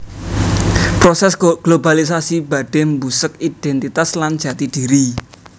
Prosès globalisasi badhé mbusek idhéntitas lan jati dhiri